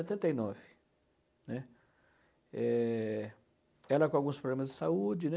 setenta e nove, né. É... Ela com alguns problemas de saúde, né?